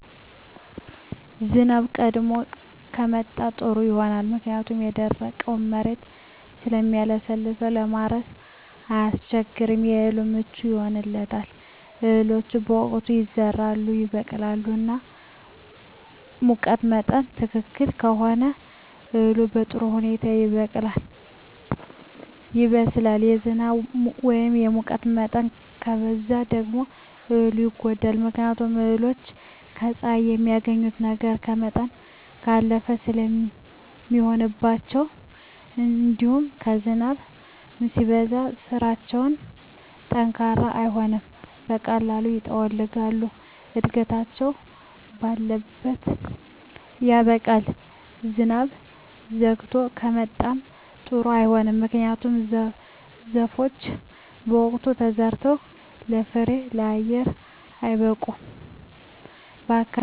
ዝናብ ቀድሞ ከመጣ ጥሩ ይሆናል ምክንያቱም የደረቀዉ መሬት ስለሚለሰልስ ለማረስ አያስቸግርም ለእህሉ ምቹ ይሆንለታል እህሎች በወቅታቸዉ ይዘራሉ ይበቅላሉ እና ሙቀት መጠን ትክክል ከሆነ እህሉ በጥሩ ሁኔታ ይበቅላል ይበስላል የዝናብ ወይም የሙቀት መጠን ከበዛ ደግሞ እህሉን ይጎዳዋል ምክንያቱም እህሎች ከፀሐይ የሚያገኙትን ነገር ከመጠን ባለፈ ስለሚሆንባቸዉእንዲሁም ዝናብም ሲበዛባቸዉ ስራቸዉ ጠንካራ አይሆንም በቀላሉ ይጠወልጋሉ እድገታቸዉ ባለት ያበቃል ዝናብ ዘይግቶ ከመጣም ጥሩ አይሆንም ምክንያቱም ዘሮች በወቅቱ ተዘርተዉ ለፍሬየአየር አይበቁም በአካባቢየ ያስተዋልኩት የአየር ሁኔታ ከጊዜ ወደጊዜ እነዚህን ለዉጦች አይቻለሁ